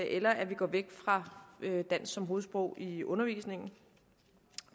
eller at vi går væk fra dansk som hovedsprog i undervisningen